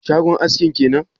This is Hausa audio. Shagon askin kenan?